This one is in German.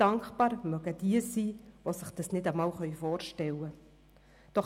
Dankbar mögen jene sein, die sich das nicht einmal vorstellen können.